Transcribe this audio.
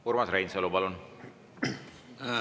Urmas Reinsalu, palun!